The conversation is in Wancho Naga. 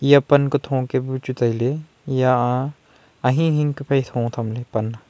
aya pan ka tho ka bu chu tailey eya a ahing ahing ka pe phai tho tham ley pan a.